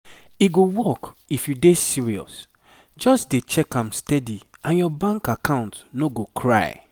e go work if you dey serious just dey check am steady and your bank account no go cry.